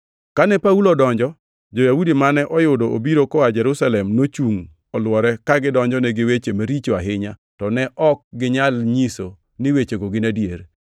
Kane Paulo odonjo, jo-Yahudi mane oyudo obiro koa Jerusalem nochungʼ olwore, ka gidonjone gi weche maricho ahinya, to ne ok ginyal nyiso ni wechego gin adier.